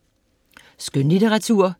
Skønlitteratur